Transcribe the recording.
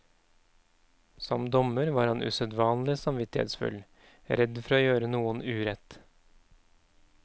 Som dommer var han usedvanlig samvittighetsfull, redd for å gjøre noen urett.